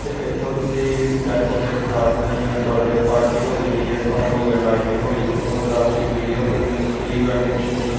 ਤੇ ਏੱਥੇ ਤੁਸੀਂ ਡੈਕੋਰੇਟ ਕਰਾ ਸਕਦੇ ਹੋਂ ਜਿਵੇਂ ਬਰਡੇ ਪਾਰਟੀ ਹੋਗੀ ਡੀ_ਜੇ ਸਾਊਂਡ ਹੋ ਗਏ ਲਾਈਟਿੰਗ ਹੋ ਗਈ photography video filming pre wedding shoot.